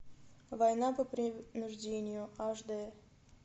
война по принуждению аш дэ